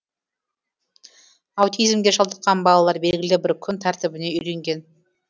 аутизмге шалдыққан балалар белгілі бір күн тәртібіне үйренген